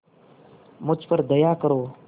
मुझ पर दया करो